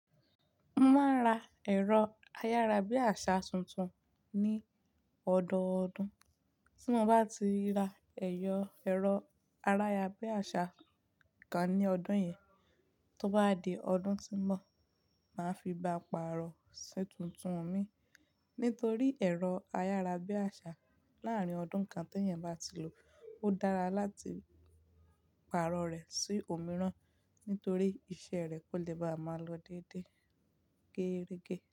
Mo máa ń ra ẹ̀rọ ayárabíàṣá tuntun ní ọdọọdún, tí mo bá ti rà ẹ̀rọ ayárabíàṣá kan ní ọdún yẹn, tó bá di ọdún tó ń bọ̀, màá fi bá pàrọ̀ sí tuntun mi. Nítorí ẹ̀rọ ayárabíàṣá láàárín ọdún kan tí ẹ́yẹn bá ti lò, ó dára láti pàrọ̀ rẹ̀ sí òmíràn, nítorí iṣẹ́ rẹ̀ kò lè bá a máa lọ déédéé gẹ́rẹ́gẹ́